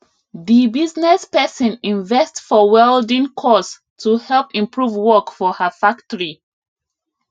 di business person invest for welding course to help improve work for her factory